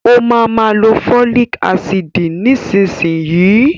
Ó ma ma lo fólìk ácìdì nísinsìnyí